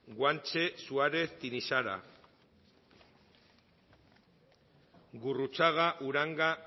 guanche suárez tinixara gurruchaga uranga